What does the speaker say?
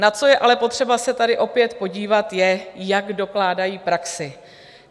Na co je ale potřeba se tady opět podívat, je, jak dokládají praxi.